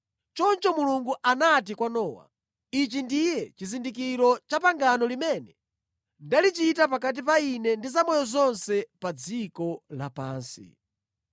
Choncho Mulungu anati kwa Nowa, “Ichi ndiye chizindikiro cha pangano limene ndalichita pakati pa Ine ndi zamoyo zonse pa dziko lapansi.”